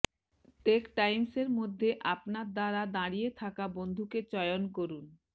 take Times এর মধ্যে আপনার দ্বারা দাঁড়িয়ে থাকা বন্ধুকে চয়ন করুন